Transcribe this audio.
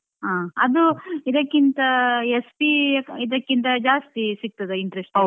ಹಾ ಅದು ಇದಕ್ಕಿಂತ SB ಇದಕ್ಕಿಂತ ಜಾಸ್ತಿ ಸಿಗ್ತದ interest .